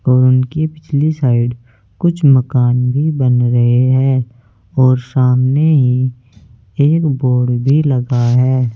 और उनके पिछले साइड कुछ मकान भी बना रहे हैं सामने ही एक बल्ब भी लगा है।